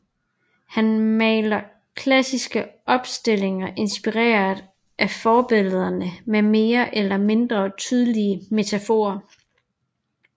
Han maler klassiske opstillinger inspireret af forbillederne med mere eller mindre tydelige metaforer